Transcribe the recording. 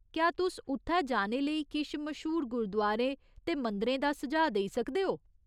क्या तुस उत्थै जाने लेई किश मश्हूर गुरुदुआरे ते मंदरें दा सुझाऽ देई सकदे ओ?